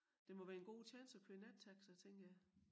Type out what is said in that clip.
Det må være en god tjans at køre nattaxa tænker jeg